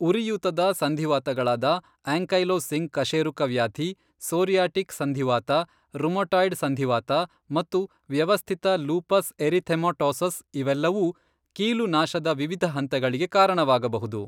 ಉರಿಯೂತದ ಸಂಧಿವಾತಗಳಾದ ಆಂಕೈಲೋಸಿಂಗ್ ಕಶೇರುಕವ್ಯಾಧಿ, ಸೋರಿಯಾಟಿಕ್ ಸಂಧಿವಾತ, ರುಮಟಾಯ್ಡ್ ಸಂಧಿವಾತ ಮತ್ತು ವ್ಯವಸ್ಥಿತ ಲೂಪಸ್ ಎರಿಥೆಮಾಟೋಸಸ್ ಇವೆಲ್ಲವೂ ಕೀಲು ನಾಶದ ವಿವಿಧ ಹಂತಗಳಿಗೆ ಕಾರಣವಾಗಬಹುದು.